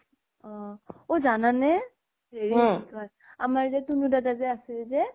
অ ও জানানে হেৰি কি কই আমাৰ জে তুনু দাদা আছে জে